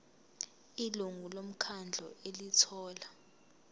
ilungu lomkhandlu elithola